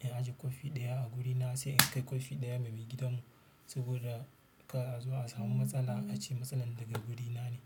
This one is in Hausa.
In ajiye kwafi ɗaya a gurina se in kai kwafi ɗaya ma me gidanmu saboda ka a zo a samu matsala a ce matsalan daga guri na ne.